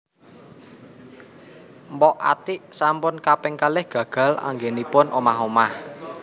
Mpok Atiek sampun kaping kalih gagal anggenipun omah omah